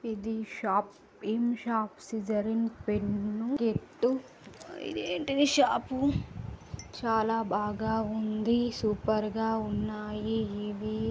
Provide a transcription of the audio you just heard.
ఇది షాప్ . ఏమి షాప్? స్కిసరిన్ పెన్ను కిట్టు . ఇదేంటిది షాపు ? చాలా బాగా ఉంది. సూపర్ గా ఉన్నాయ్ ఇవి.